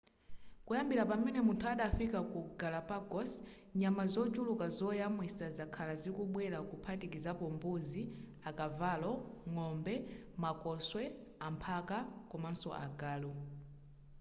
kuyambira pamene munthu adafika ku galapagos nyama zochuluka zoyamwisa zakhala zikubwera kuphatikizapo mbuzi akavalo ng'ombe makoswe amphaka komanso agalu